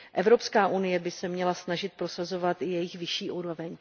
Evropská unie by se měla snažit prosazovat jejich vyšší úroveň.